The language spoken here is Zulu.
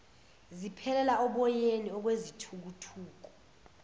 ziphelela oboyeni okwezithukuthuku